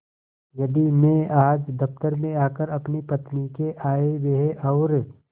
यदि मैं आज दफ्तर में आकर अपनी पत्नी के आयव्यय और